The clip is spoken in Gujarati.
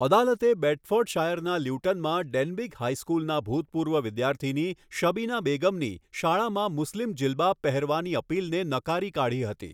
અદાલતે બેડફોર્ડશાયરના લ્યુટનમાં ડેનબીગ હાઈસ્કૂલના ભૂતપૂર્વ વિદ્યાર્થીની શબીના બેગમની શાળામાં મુસ્લિમ જીલબાબ પહેરવાની અપીલને નકારી કાઢી હતી.